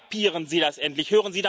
Kapieren Sie das endlich!